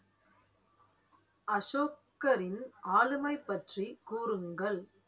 அசோகரின் ஆளுமை பற்றி கூறுங்கள்